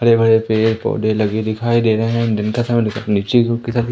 हरे भरे पेड़ पौधे लगे दिखाई दे रहे हैं दिन का समय नीचे --